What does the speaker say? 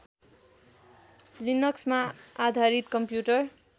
लिनक्समा आधारित कम्प्युटर